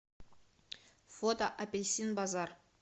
фото апельсин базар